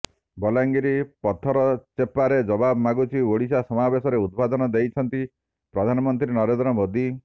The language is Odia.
ବଲାଙ୍ଗିର ପଥରଚେପାରେ ଜବାବ ମାଗୁଛି ଓଡିଶା ସମାବେଶରେ ଉଦବୋଧନ ଦେଇଛନ୍ତି ପ୍ରଧାନମନ୍ତ୍ରୀ ନରେନ୍ଦ୍ର ମୋଦି